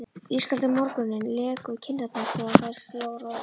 Ískaldur morgunninn lék við kinnarnar svo á þær sló roða.